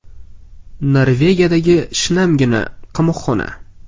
Norvegiyadagi shinamgina qamoqxona.